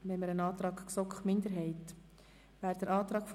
Hier liegt ein Antrag der GSoK-Minderheit vor.